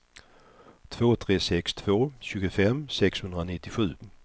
två tre sex två tjugofem sexhundranittiosju